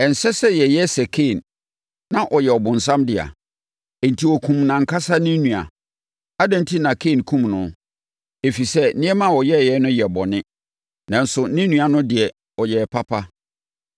Ɛnsɛ sɛ yɛyɛ sɛ Kain. Na ɔyɛ ɔbonsam dea. Enti ɔkumm nʼankasa ne nua. Adɛn enti na Kain kumm no? Ɛfiri sɛ, nneɛma a ɔyɛeɛ no yɛ bɔne, nanso ne nua no deɛ, ɔyɛɛ papa.